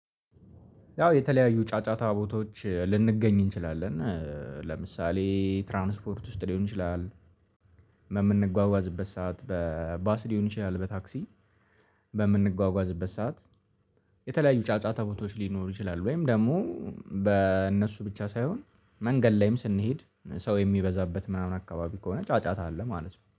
ያው የተለያዩ ጫጫታ ቦታዎች ልንገኝ እንችላለን። ለምሳሌ ትራንስፖርት ውስጥ ሊሆን ይችላል፣ በምንጓጓዝበት ሰዓት በባስ ሊሆን ይችላል በታክሲ በምንጓጓዝበት ሰዓት የተለያዩ ጫጫታ ቦታዎች ሊኖሩ ይችላሉ ወይም ደግሞ በእነሱ ብቻ ሳይሆን መንገድ ላይም ስንሄድ ሰው የሚበዛበት ምናምን አካባቢ ከሆነ ጫጫታ አለ ማለት ነው።